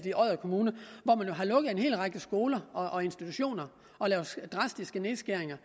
i odder kommune at en hel række skoler og institutioner og laver drastiske nedskæringer